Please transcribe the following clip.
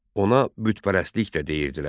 Ona bütpərəstlik də deyirdilər.